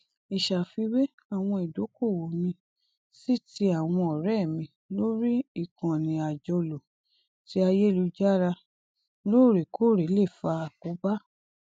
ìṣàfiwé àwọn ìdókòwò mi sí ti àwọn ọrẹ mi lórí ìkànnì àjọlò ti ayélujára lóòrèkóòrè lè fa àkóbá